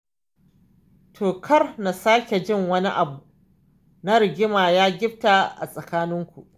To kar na sake jin wani abu na rigima ya gifta a tsakaninku.